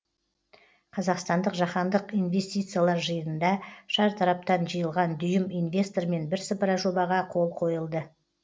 қазақстандық жаһандық инвестициялар жиынында шартараптан жиылған дүйім инвестормен бірсыпыра жобаға қол қойылды